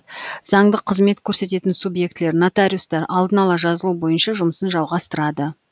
заңдық қызмет көрсететін субъектілер нотариустар алдын ала жазылу бойынша жұмысын жалғатырады